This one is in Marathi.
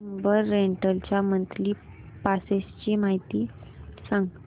उबर रेंटल च्या मंथली पासेस ची माहिती सांग